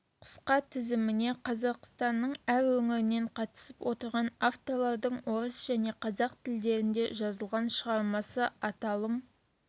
қысқа тізіміне қазақстанның әр өңірінен қатысып отырған авторлардың орыс және қазақ тілдерінде жазылған шығармасы аталым